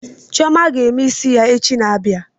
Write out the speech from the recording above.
Chioma ga-eme isi ya echi na-abịa